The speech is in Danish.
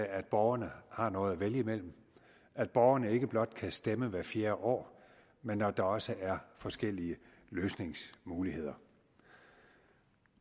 at borgerne har noget at vælge mellem at borgerne ikke blot kan stemme hvert fjerde år men at der også er forskellige løsningsmuligheder